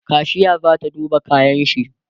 kashiya zata duba kayanshi